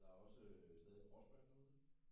Der er også øh stadig crossbane derude ik?